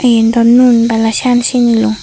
iyan dw nun bana cian sinilung.